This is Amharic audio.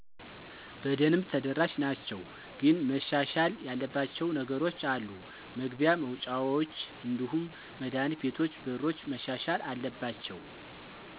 በደንብ ተደራሽ ናቸው። ግን መሻሻል ያለባቸው ነገሮች አሉ መግቢያ፣ መውጫውች እንዲሁም መዳህኒት ቤቶች በሮች መሻሻል አለባቸው።